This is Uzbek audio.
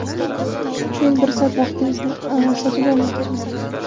men bir soat vaqtingizni sotib olmoqchiman.